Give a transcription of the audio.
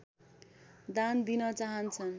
दान दिन चाहन्छन्